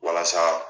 Walasa